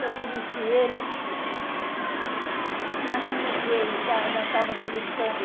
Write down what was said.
Eu conheci ele, mas não liguei, nós estávamos brincando.